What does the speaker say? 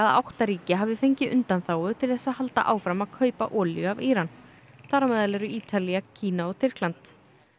átta ríki hafi fengið undanþágu til þess að halda áfram að kaupa olíu af Íran þar á meðal eru Ítalía Kína og Tyrkland